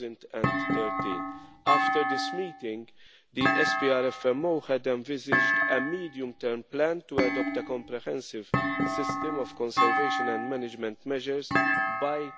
2013. After this meeting, the SPRFMO had envisaged a medium term plan to adopt a comprehensive system of conservation and management measures by